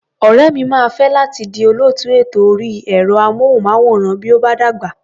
Ọ̀rẹ́ mi máa fẹ́ láti di olóòtú ètò orí ẹ̀rọ-amóhùnmáwòrán bí ó bá dàgbà.